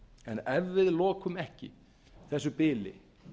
en ef við lokum ekki þessu bili